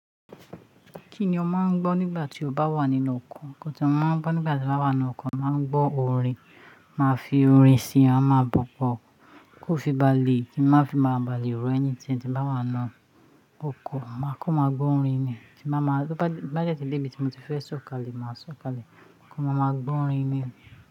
Kí ni o máa ń gbọ́ nígbà tí o bá wà nínú ọkọ̀? Nígbà tí mo bá wà nínú ọkọ̀, màá ń gbọ́ orin. Màá fi orin sí i, máa ma gbo kí ó fi bá le kí n má fi má balẹ̀ ro anything tí mo bá wà nínú ọkọ̀. Máa kan, màá gbọ́ orin ni. Tí n bá de ti dé ibi tí mo ti fẹ́ sọ̀kalẹ̀, màá sọ̀kalẹ̀. Kọ́, màá máa gbọ́ orin ni.